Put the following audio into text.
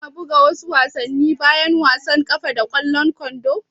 Kuna buga wasu wasanni bayan wasan ƙwallon ƙafa da ƙwallon kwando?